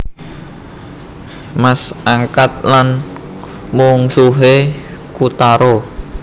Mas angkat lan mungsuhé Kotaro